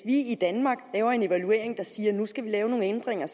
i danmark laver en evaluering der siger at nu skal vi lave nogle ændringer